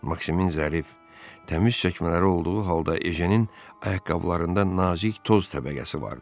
Maksimin zərif, təmiz çəkmələri olduğu halda Ejenin ayaqqabılarında nazik toz təbəqəsi vardı.